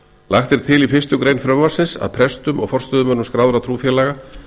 lagt er til í fyrstu grein frumvarpsins að prestum og forstöðumönnum skráðra trúfélaga